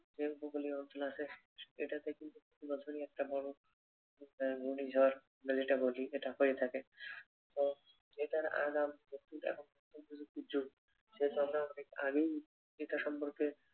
যে উপকুলীয় অঞ্চল আছে এটাতে কিন্তু বছরে একটা বড়ো উম ঘুর্ণিঝড় আমরা যেটা বলি এটা হয়ে থাকে। তো এটার আগাম অনেক আগেই এটা সম্পর্কে